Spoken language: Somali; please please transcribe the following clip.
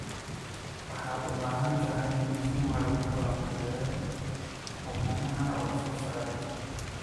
Waxaad u baahan tahay mishiin lagu falanqeeyo ukumaha la soo saaray.